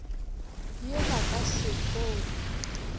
ye ba ka se kgoge